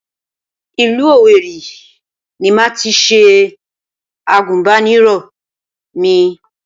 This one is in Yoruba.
Ìlú Òwèrì ni màá tis ̣e Àgùnbánirọ̀ mi